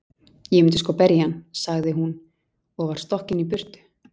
Ég myndi sko berja hann, sagði hún og var stokkin í burtu.